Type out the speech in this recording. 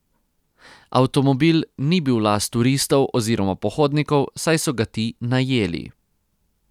Avtomobil ni bil last turistov oziroma pohodnikov, saj so ga ti najeli.